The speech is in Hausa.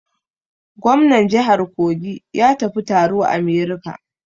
Gomnar jihar Kogi ya tafi taro a America.